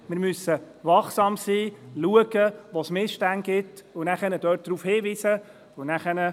Wir müssen wachsam sein und prüfen, wo es Missstände gibt und auf diese hinweisen.